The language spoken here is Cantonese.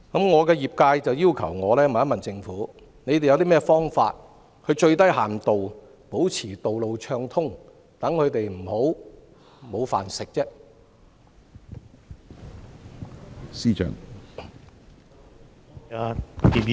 我的業界要求我問政府，有甚麼方法最低限度保持道路暢通，讓他們不致"沒飯吃"？